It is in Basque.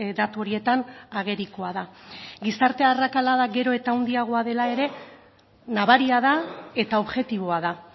datu horietan agerikoa da gizarte arrakalada gero eta handiagoa dela ere nabaria da eta objektiboa da